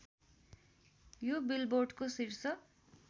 यो बिलबोर्डको शीर्ष